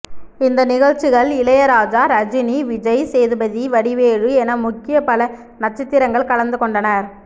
இந்த நிகழ்ச்சிகள் இளையராஜா ரஜினி விஜய் சேதுபதி வடிவேலு என முக்கிய பல நட்சத்திரங்கள் கலந்துக்கொண்டனர்